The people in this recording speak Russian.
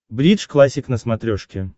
бридж классик на смотрешке